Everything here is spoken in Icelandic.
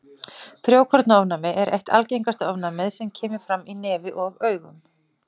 Frjókornaofnæmi er eitt algengasta ofnæmið sem kemur fram í nefi og augum.